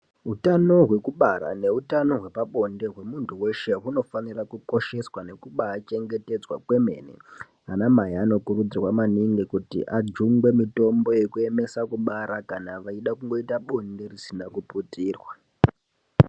Utano hwekubara neutano hwepabonde hwemuntu weshe hunofanira kukosheswa nekubachengetedzwa kwemene. Anamai anokurudzirwa maningi kuti ajungwe mitombo yekuemesa kubara kana vachida kungoita bonde risina kuputirwa.